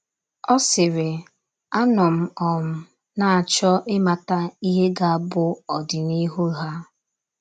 Ọ sịrị, “ Anọ m um na - achọ ịmata ihe ga - abụ ọdịnihu ha. ””